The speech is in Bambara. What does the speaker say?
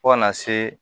Fo kana se